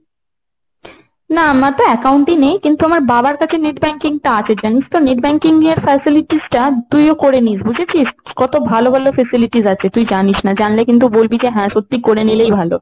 না আমারটা account ই নেই। কিন্তু আমার বাবার কাছে net banking টা আছে জানিস তো। net banking এর facilities টা তুইও করে নিস। বুঝেছিস কত ভালো ভালো facilities আছে। তুই জানিস না, জানলে কিন্তু বলবি, হ্যাঁ সত্যি করে নিলেই ভালো।